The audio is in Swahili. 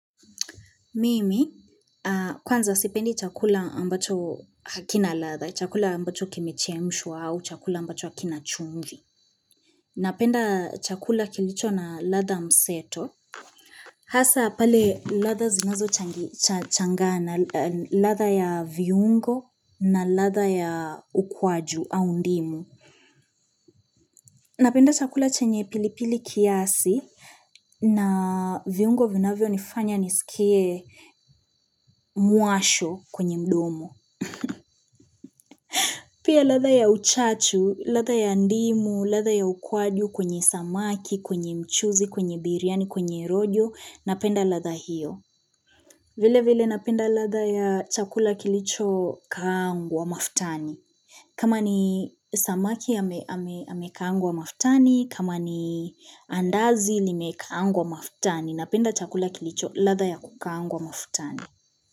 Mimi kwanza sipendi chakula ambacho hakina ladha, chakula ambacho kimechemshwa au chakula ambacho hakina chumvi Napenda chakula kilicho na ladha mseto Hasa pale ladha zinazochangana ladha ya viungo na ladha ya ukwaju au ndimu Napenda chakula chenye pilipili kiasi na viungo vinavyo nifanya nisikie muasho kwenye mdomo. Pia ladha ya uchache, latha ya ndimu, latha ya ukwadu kwenye samaki, kwenye mchuzi, kwenye biryani, kwenye rojo, napenda ladha hiyo. Vile vile napenda ladha ya chakula kilicho kaangwa maftani. Kama ni samaki amekaangwa mafutani, kama ni andazi limekaangwa mafutani, napenda chakula kilicho ladha ya kukaangwa mafutani.